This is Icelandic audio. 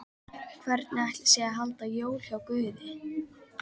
Hvernig ætli sé að halda jól hjá Guði?